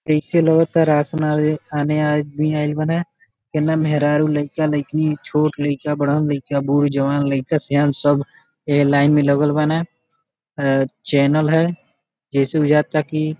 अइसे लगता राशन आने आदमी आइल बारे एने मेहरारू लइका लईकीनी छोट लइका बड़हन लइका बूढ जवान लइका श्यान सब ये लाइन में लगल बाने अ चैनल है जैसे बुझाता कि --